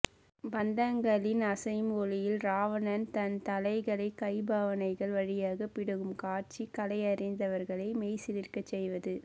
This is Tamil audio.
பந்தங்களின் அசையும் ஒளியில் ராவணன் தன் தலைகளை கைபாவனைகள் வழியாக பிடுங்கும் காட்சி கலையறிந்தவர்களை மெய்சிலிர்க்கச்செய்வது